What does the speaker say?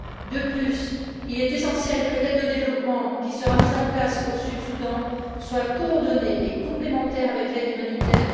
De plus, il est essentiel que l'aide au développement qui sera mise en place au Sud Soudan soit coordonnée et complémentaire avec l'aide humanitaire.